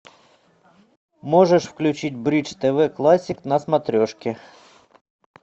можешь включить бридж тв классик на смотрешке